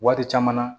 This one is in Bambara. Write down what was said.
Waati caman na